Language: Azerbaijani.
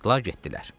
Çıxdılar, getdilər.